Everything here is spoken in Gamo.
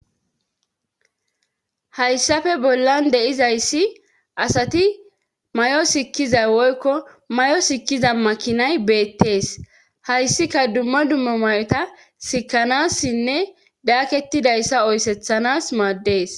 Hayssafe bollan deizayssi asati may7o sikkiza woykko may'o sikkiza makinay beettees hayssika dumma dumma may'ota sikkanassinne daaketidayssa oysethanas maaddees.